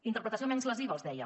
interpretació menys lesiva els deia